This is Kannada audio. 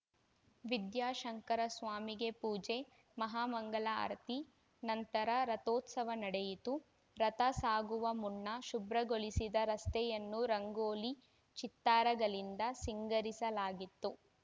ವಿದ್ಯಾಶಂಕರ ಸ್ವಾಮಿಗೆ ಪೂಜೆ ಮಹಾಮಂಗಳಾರತಿ ನಂತರ ರಥೋತ್ಸವ ನಡೆಯಿತು ರಥಸಾಗುವ ಮುನ್ನ ಶುಭ್ರಗೊಳಿಸಿದ ರಸ್ತೆಯನ್ನು ರಂಗೋಲಿ ಚಿತ್ತಾರಗಳಿಂದ ಸಿಂಗರಿಸಲಾಗಿತ್ತು